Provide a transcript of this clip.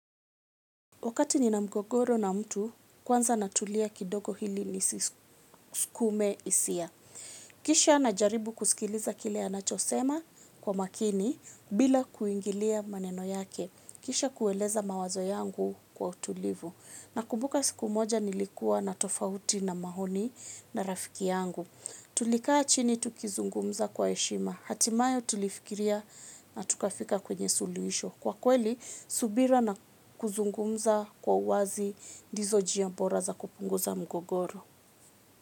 Wakati ni na mgogoro na mtu, kwanza natulia kidogo ili nisisukume hisia. Kisha na jaribu kusikiliza kile anachosema kwa makini bila kuingilia maneno yake. Kisha kueleza mawazo yangu kwa utulivu. Nakumbuka siku moja nilikuwa na tofauti na maoni na rafiki yangu. Tulikaa chini tukizungumza kwa heshima. Hatimaye tulifikiria na tukafika kwenye suluhisho. Kwa kweli, subira na kuzungumza kwa uwazi dizo jia bora za kupunguza mgogoro.